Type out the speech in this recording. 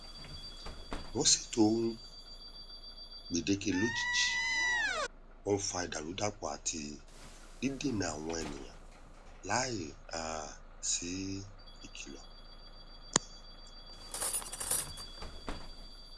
wọn ṣètò ohun gbèdéke lójijì wọn n fa ìdàrúdàpọ àti dídènà àwọn ènìyàn láì um sí ìkìlọ